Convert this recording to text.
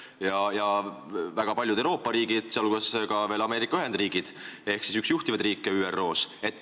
Nende hulgas on väga paljud Euroopa riigid ja ka Ameerika Ühendriigid, kes on üks juhtivaid riike ÜRO-s.